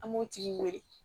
An b'o tigi wele